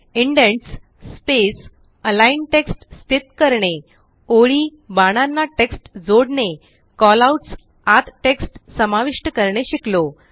indents space align text स्थित करणे ओळी बाणांना टेक्स्ट जोडणे कॉलआउट्स आत टेक्स्ट समाविष्ट करणे शिकलो